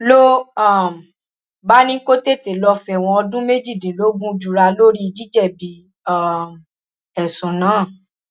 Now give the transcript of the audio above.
ló um bá ní kó tètè lọọ fẹwọn ọdún méjìdínlógún jura lórí jíjẹbi um ẹsùn náà